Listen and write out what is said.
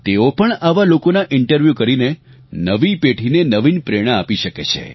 તેઓ પણ આવા લોકોના ઇન્ટરવ્યુ કરીને નવી પેઢીને નવીન પ્રેરણા આપી શકે છે